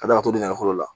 Ka d'a kan dongɛ la